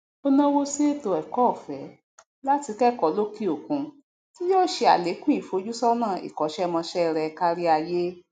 o nawó sí ètò ẹkọọfẹ latí kẹkọọ lókè òkun tí yó se àlékún ìfojúsọnà ìkọṣẹmọṣẹ rẹ káríayé